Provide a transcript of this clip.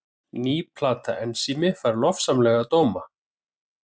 Ný plata Ensími fær lofsamlega dóma